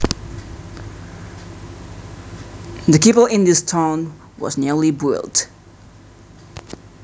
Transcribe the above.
The chapel in this town was newly built